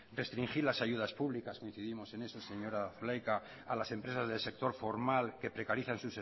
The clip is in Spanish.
restringir las ayudas públicas coincidimos en eso señora zulaika a las empresas del sector formal que precarizan